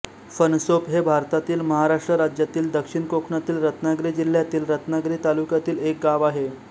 फणसोप हे भारतातील महाराष्ट्र राज्यातील दक्षिण कोकणातील रत्नागिरी जिल्ह्यातील रत्नागिरी तालुक्यातील एक गाव आहे